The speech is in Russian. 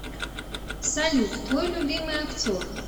салют твой любимый актер